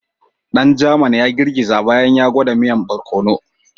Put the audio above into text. Dan German ya girgiza bayan ya gwada miyan bararkono.